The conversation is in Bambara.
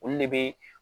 Olu de bɛ